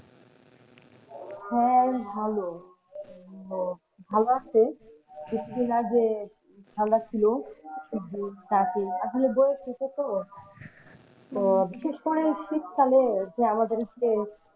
হ্যাঁ ভালো উম ভালো আছে কিছুদিন আগে যে ঠাণ্ডা ছিল আসলে বয়েস হচ্ছে তো, তো বিশেষ করে এই শীতকালে যে আমাদের যে,